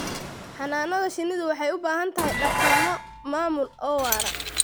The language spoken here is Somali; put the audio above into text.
Xannaanada shinnidu waxay u baahan tahay dhaqammo maamul oo waara.